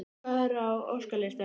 Hvað er á óskalistanum?